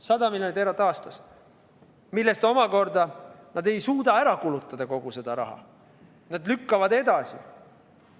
100 miljonit eurot aastas, millest osa nad ei suuda ära kulutada, nad lükkavad seda edasi.